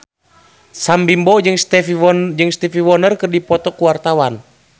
Sam Bimbo jeung Stevie Wonder keur dipoto ku wartawan